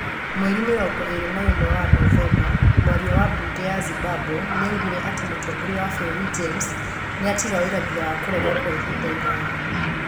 Mweri mĩrongo ĩĩrĩ na ĩmwe wa Novemba, mwaria wa mbunge ya Zimbabwe nĩ augire atĩ mũtongoria wa bũrũri James nĩ atiga wĩra thutha wa kũrega kwa ihinda iraya.